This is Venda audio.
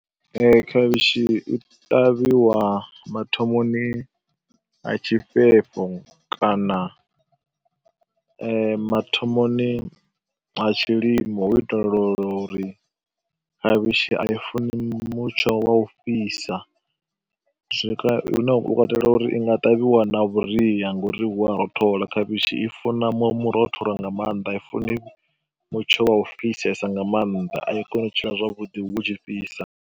Ee, khavhishi i ṱavhiwa mathomoni a tshifhefho kana mathomoni ha tshilimo hu u itela uri khavhishi a i funi mutsho wa u fhisa, zwi hune hu katela uri i nga ṱavhiwa na vhuria ngauri hu a rothola. Khavhishi i funa murotholo nga maanḓa, a i funi mutsho wa u fhisesa nga maanḓa, a i koni u tshila zwavhuḓi hu tshi fhisa.